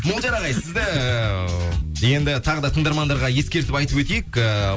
молдияр ағай сізді ііі енді тағы да тыңдармандарға ескертіп айтып өтейік ііі